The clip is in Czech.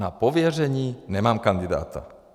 Na pověření nemám kandidáta.